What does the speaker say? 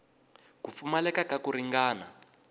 ku pfumaleka ka ku ringana